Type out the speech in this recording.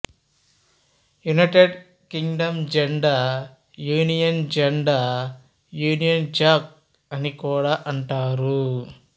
United Kingdom జెండా Union జెండా Union Jack అని కూడా అంటారు